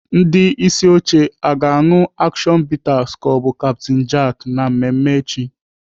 Ndị isi oche a ga-aṅụ action bitter ka ọ bụ Captain Jack na mmemme echi?